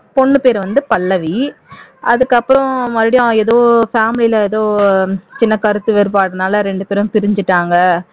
பொண்ணு பேரு வந்து பல்லவி அதுக்கப்புறம் மறுபடியும் ஏதோ family ல ஏதோ சின்ன கருத்து வேறுபாடுனால ரெண்டு பேரும் பிரிஞ்சிட்டாங்க